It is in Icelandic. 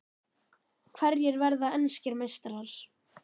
Hverjir verða enskir meistarar?